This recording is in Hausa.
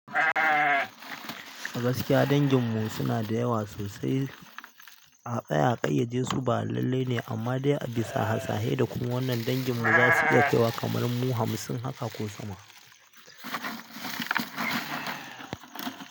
A gaskiya dangin mu suna da yawa sosai. A tsaye a ƙayyade su ba lallai ne amma dai a bisa hasashe da kuma wannan dangin mu za su iya kyau wa kamar mu hamsin haka ko sama.